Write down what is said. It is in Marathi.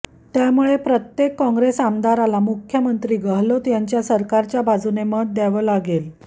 त्यामुळे प्रत्येक काँग्रेस आमदाराला मुख्यमंत्री गेहलोत यांच्या सरकारच्या बाजूने मत द्यावं लागेल